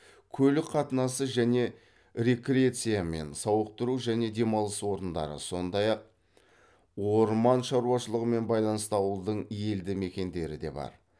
көлік қатынасы және рекреациямен сауықтыру және демалыс орындары сондай ақ орман шаруашылығымен байланысты ауылдың елді мекендері де бар